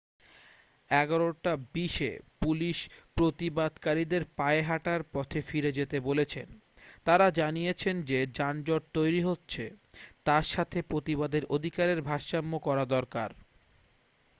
11:20 এ পুলিশ প্রতিবাদকারীদের পায়ে হাটার পথে ফিরে যেতে বলেছেন তারা জানিয়েছেন যে যানজট তৈরী হচ্ছে তার সাথে প্রতিবাদের অধিকারের ভারসাম্য করা দরকার